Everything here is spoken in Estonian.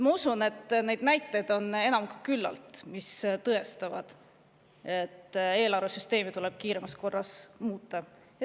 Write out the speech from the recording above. Ma usun, et neid näiteid on enam kui küllalt, mis tõestavad, et eelarvesüsteemi tuleb kiiremas korras muuta.